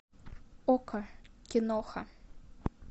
окко киноха